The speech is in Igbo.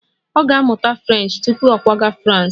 Ọ ga-amụta French tupu ọ kwaga Frans